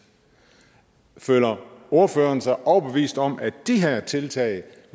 føler ordføreren sig overbevist om at de her tiltag